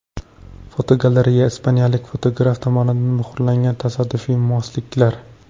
Fotogalereya: Ispaniyalik fotograf tomonidan muhrlangan tasodifiy mosliklar.